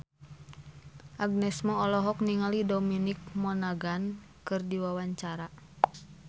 Agnes Mo olohok ningali Dominic Monaghan keur diwawancara